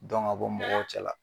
Dɔn ka bɔ mɔgɔw cɛla.